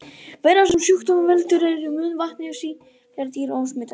Veiran sem sjúkdómnum veldur er í munnvatni sýktra dýra og smitast við bit.